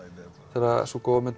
þegar sú góða mynd